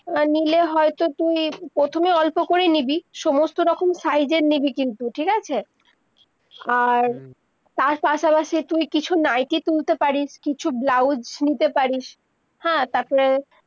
নিলে হয় তো তুই প্রথমে অল্প করেই নিবি সমস্ত রকম size এর নিবি কিন্তু ঠিক আছে, আর হম তার পাশা-পাশি তুই কিছু nightly তুলতে পারিস কিছু ব্লাউস নিতে পারিস হ্যাঁ তার পরে-